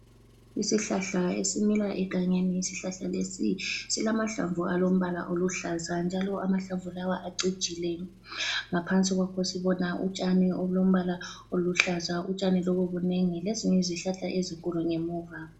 Isihlahla esimila egangeni, isihlahla lesi silamahlamvu alombala oluhlaza, njalo amahlamvu lawa acijile, ngaphansi kwakho sibona utshani obulombala oluhlaza, utshani lobu bunengi lezinye izihlahla ezinkulu ngemuva.